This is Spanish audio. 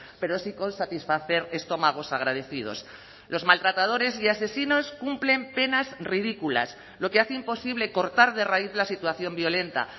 pero sí con satisfacer estómagos agradecidos los maltratadores y asesinos cumplen penas ridículas lo que hace imposible cortar de raíz la situación violenta